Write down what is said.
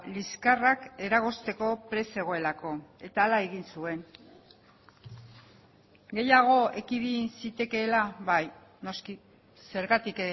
liskarrak eragozteko prest zegoelako eta hala egin zuen gehiago ekidin zitekeela bai noski zergatik